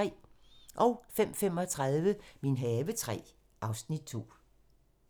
05:35: Min have III (Afs. 2)